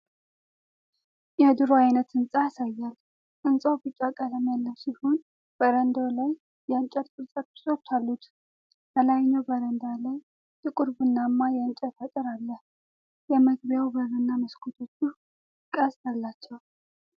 የድሮ ዓይነት ሕንፃን ያሳያል። ሕንፃው ቢጫ ቀለም ያለው ሲሆን በረንዳው ላይ የእንጨት ቅርጻ ቅርጾች አሉት። በላይኛው በረንዳ ላይ ጥቁር ቡናማ የእንጨት አጥር አለ። የመግቢያው በርና መስኮቶቹ ቅስት አላቸው።